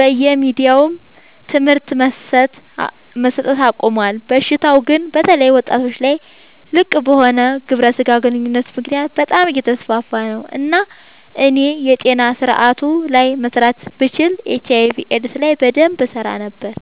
በየሚዲያውም ትምህርት መሰት አቆሞል። በሽታው ግን በተለይ ወጣቶች ላይ ልቅበሆነ ግብረ ስጋ ግንኙነት ምክንያት በጣም አየተስፋፋ ነው። እናም እኔ የጤና ስረአቱ ላይ መስራት ብችል ኤች/አይ/ቪ ኤድስ ላይ በደንብ እሰራ ነበር።